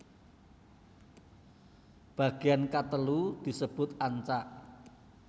Bagean katelu disebut ancak